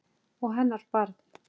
Og hennar barn.